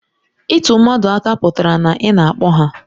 Ịtụ mmadụ aka pụtara na ị na-akpọ ha